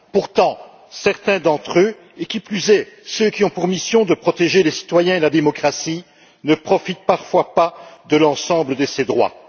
Pourtant, certains d'entre eux, et qui plus est, ceux qui ont pour mission de protéger les citoyens et la démocratie, ne profitent parfois pas de l'ensemble de ces droits.